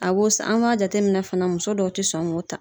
A b'o san an b'a jate minɛ fana muso dɔw ti sɔn k'o ta.